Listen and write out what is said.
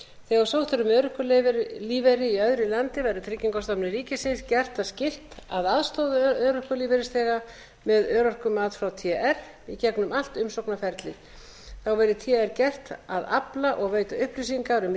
þegar sótt er um örorkulífeyri í öðru landi verður tryggingastofnun ríkisins gert það skylt að aðstoða örorkulífeyrisþega með örorkumat frá tr í gegnum allt umsóknarferlið þá bæði tr gert að afla og veita upplýsingar um